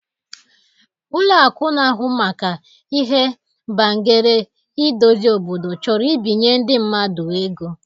Ụlọ akụ na ahụ maka ihe bangere idozi obodo chọrọ ibinye ndi mmadu ego